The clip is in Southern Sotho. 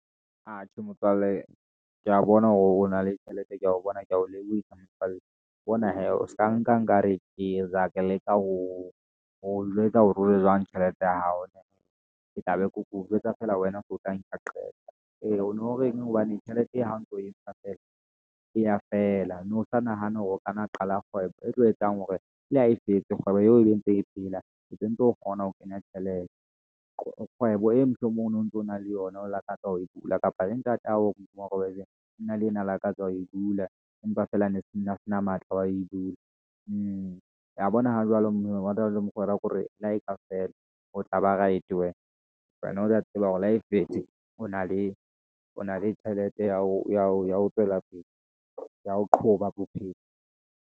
Atjhe Motswalle kea bona hore o na le tjhelete ko ho bona ke ho lebohisa ka motswalle. Bona hee o ska nka nkare eya ke leka ho o jwetsa hore o le jwang tjhelete ya hao. Ke tla be ke o jwetsa feela wena o tla nka qeto eo o no reng hobane tjhelete e ha o ntso o entsha feela, eya feela. O no sa nahane hore o kanna Qala kgwebo e tlo etsang hore le a e fetse kgwebo ebe e ntse e phela ntse ntse o kgona ho kenya tjhelete. Kgwebo e mohlomong o no ntso na le yona o lakatsa ho e bula kapa ntatao a ne neng lakatsa ho e bula. Empa feela ne se na se na matla, wa e bula, wa bona o jwalo mona le mokgwa wa hore le ha e ka feela ho tlaba, wena wena o a tseba hore le ha e fetse, o na le, o na le tjhelete ya ho ya ho ya ho tswela pele ya ho qoba bophelo.